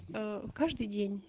каждый день